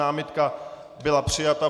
Námitka byla přijata.